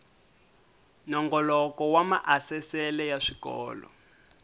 nongoloko wa maasesele ya swikolo